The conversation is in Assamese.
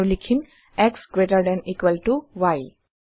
আৰু লিখিম x greater than equal to y